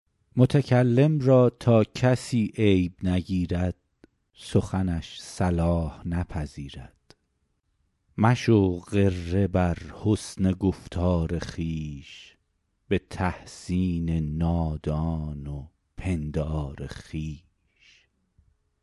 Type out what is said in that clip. متکلم را تا کسی عیب نگیرد سخنش صلاح نپذیرد مشو غره بر حسن گفتار خویش به تحسین نادان و پندار خویش